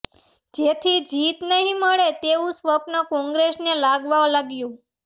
જેથી જીત નહીં મળે તેવું સ્વપ્ન કોંગ્રેસને લાગવા લાગ્યું